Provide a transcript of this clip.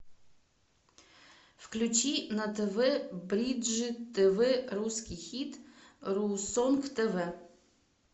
включи на тв бридж тв русский хит ру сонг тв